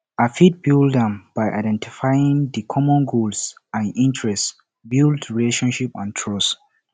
i fit build am by identifying di common goals and interests build relationship and trust